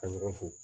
Ka ɲagamu fu